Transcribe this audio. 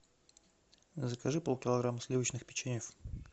закажи полкилограмма сливочных печеньев